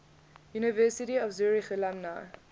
university of zurich alumni